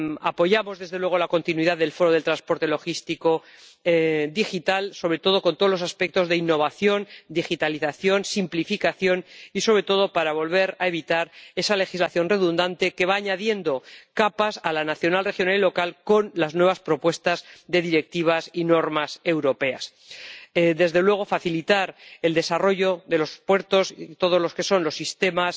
Apoyamos, desde luego, la continuidad del Foro de Transporte y Logística Digitales, sobre todo con todos los aspectos de innovación, digitalización, simplificación, y sobre todo para volver a evitar esa legislación redundante que va añadiendo capas a la nacional, regional y local con las nuevas propuestas de directivas y normas europeas. Desde luego, queremos facilitar el desarrollo de los puertos y los sistemas